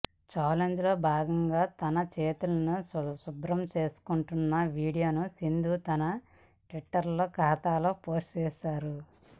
చాలెంజ్లో భాగంగా తన చేతులను శుభ్రం చేసుకుంటున్న వీడియోను సింధు తన ట్విట్టర్ ఖాతాలో పోస్ట్ చేసారు